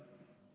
Aitäh!